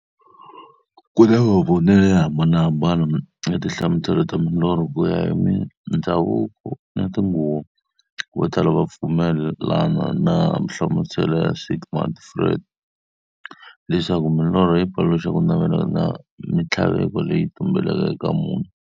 Ku na mavonele yo hambanahambana ya tinhlamuselo ta milorho, kuya hi mindzhavuko na tinguva. Votala va pfumelana na nhlamuselo ya Sigmund Freud, leswaku milorho yi paluxa kunavela na minthlaveko leyi tumbeleke eka munhu.